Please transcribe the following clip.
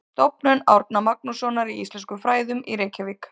Stofnun Árna Magnússonar í íslenskum fræðum í Reykjavík.